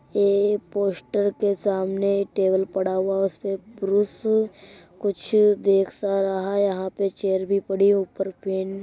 ये पोस्टर के सामने एक टेबल पडा हुआ है| उसपे प्रूश कुछ देख सा रहा है| ऊपर चेयर भी पड़ी है| ऊपर पेन --